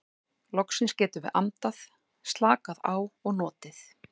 Loksins getum við andað, slakað á og notið.